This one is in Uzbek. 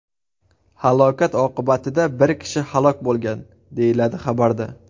Halokat oqibatida bir kishi halok bo‘lgan”, deyiladi xabarda.